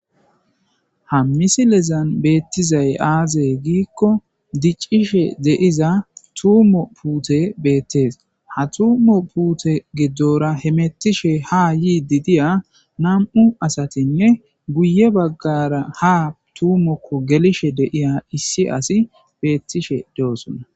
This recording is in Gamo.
Ha misilezan betizay aaze giikko: dicishe de7iza tuumo puutey beetes. Ha tuumo puute godora hemettishe ha yidi de7iya nam77u asatinne guye baggaara ha tuumokko gelishe de7iya issi asi beetishe de7oosona.